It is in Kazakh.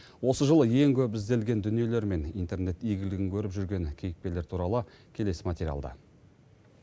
осы жылы ең көп ізделген дүниелер мен интернет игілігін көріп жүрген кейіпкерлер туралы келесі материалда